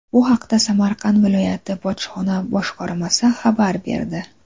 Bu haqda Samarqand viloyati bojxona boshqarmasi xabar berdi .